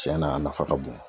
Cɛn na a nafa ka bon.